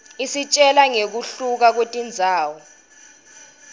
isitjela ngekuhluka kwetindzawo